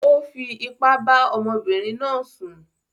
ó fi ipá bá ọmọbìnrin náà sùn.